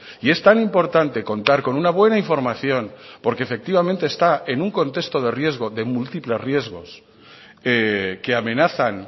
y es tan importante contar con una buena información porque efectivamente está en un contexto de riesgo de múltiples riesgos que amenazan